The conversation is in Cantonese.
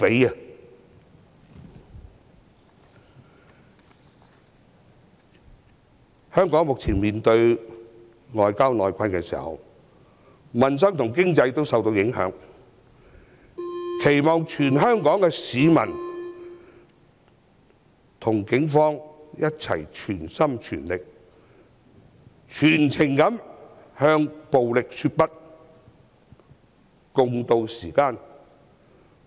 在香港面對外憂內困，民生、經濟受到影響的時候，我期望全港市民能與警方一同全心、全力、全情向暴力說不，共渡時艱。